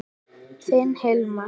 Þinn Hilmar.